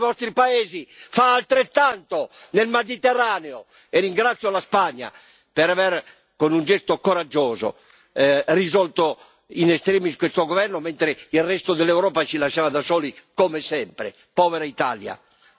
Io vorrei sapere quali dei vostri paesi fa altrettanto nel Mediterraneo, e ringrazio la Spagna, per aver, con un gesto coraggioso, risolto in extremis questo governo, mentre il resto dell'Europa ci lasciava da soli, come sempre!